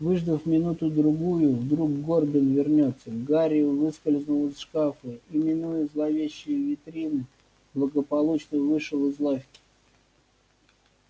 выждав минуту-другую вдруг горбин вернётся гарри выскользнул из шкафа и минуя зловещие витрины благополучно вышел из лавки